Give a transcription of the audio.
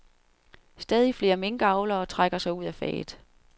Stadig flere minkavlere trækker sig ud af faget.